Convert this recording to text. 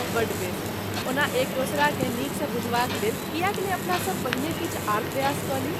बड़ बेस, ओना एक दोसराकेँ नीकसँ बुझबाक लेल किएक नहि अपनासभ पहिने किछु आर प्रयास कऽ ली ?